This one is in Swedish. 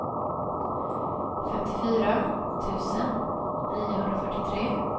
femtiofyra tusen niohundrafyrtiotre